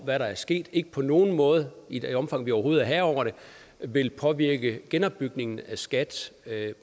hvad der er sket ikke på nogen måde i det omfang vi overhovedet er herre over det vil påvirke genopbygningen af skat